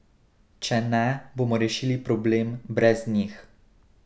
Če ne, bomo rešili problem brez njih!